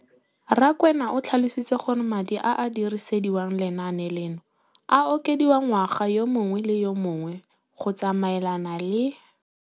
Rakwena o tlhalositse gore madi a a dirisediwang lenaane leno a okediwa ngwaga yo mongwe le yo mongwe go tsamaelana le